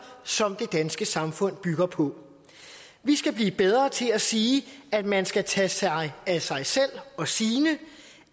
som det danske samfund bygger på vi skal blive bedre til at sige at man skal tage sig af sig selv og sine